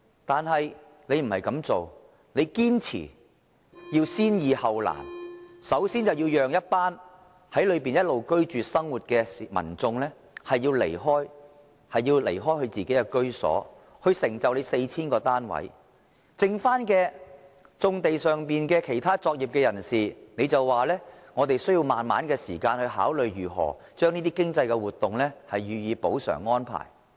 但是，它卻不是這樣做，它堅持要先易後難，首先要讓一群在當地一直生活的民眾離開自己的居所，來成就 4,000 個單位；對於餘下的棕地上作業的其他人士，它就說需要時間慢慢考慮如何將這些經濟活動予以補償安排。